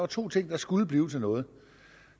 to ting der skulle blive til noget